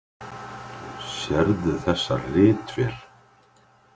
Sérðu þessa ritvél?